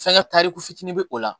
Fɛnkɛ tariku fitinin be o la